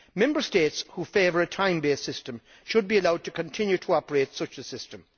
Member States which favour a time based system should be allowed to continue to operate such a system.